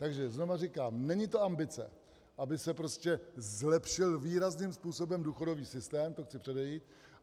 Takže znovu říkám, není to ambice, aby se prostě zlepšil výrazným způsobem důchodový systém, to chci předejít.